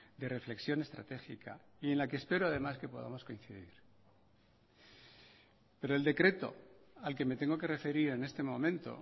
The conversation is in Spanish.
de reflexión estratégica y en la que espero además que podamos coincidir pero el decreto al que me tengo que referir en este momento